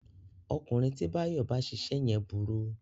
Ọkùnrin tí Báyọ̀ bá ṣiṣẹ́ yẹn burú